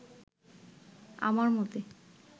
আমার মতে